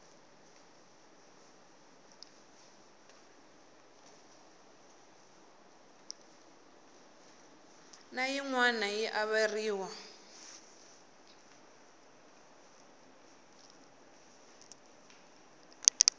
na yin wana yi averiwa